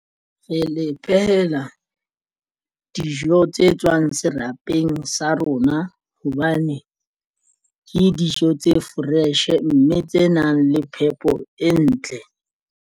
Re le phehela dijo tse tswang serapeng sa rona hobane ke dijo tse fresh mme tse nang le phepo e ntle.